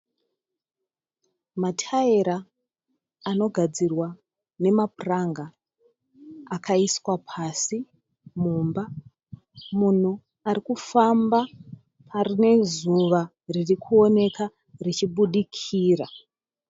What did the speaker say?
Mataera anogadzirwa nemapuranga akaiswa pasi mumba. Munhu arikufamba pane zuva ririkuoneka richibudikira.